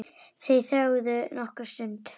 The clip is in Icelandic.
Þeir þögðu nokkra stund.